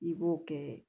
I b'o kɛ